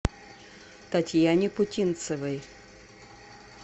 татьяне путинцевой